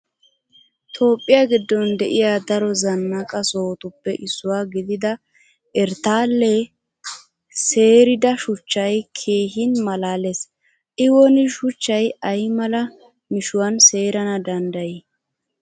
Toophphiya giddon de'iya daro zannaqa sohotuppe issuwa gidida erttaale seerida shuchchay keehin maalaalees. I woni shuchchay ay mala mishuwan seerana danddayii!